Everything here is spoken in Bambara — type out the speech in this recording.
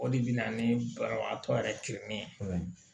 O de bɛ na ni banabagatɔ yɛrɛ kilennen ye